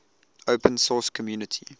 open source community